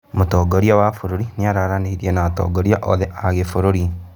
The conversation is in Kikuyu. Mũtongoria wa bũrũri nĩ aranĩirie na atongoria othe a gĩbũrũri